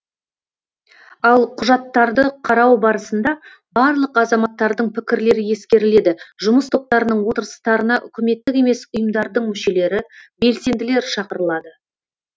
ал құжаттарды қарау барысында барлық азаматтардың пікірлері ескеріледі жұмыс топтарының отырыстарына үкіметтік емес ұйымдардың мүшелері белсенділер шақырылады